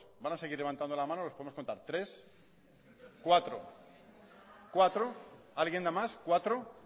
van a seguir levantando la mano los podemos contar tres cuatro alguien da más cuatro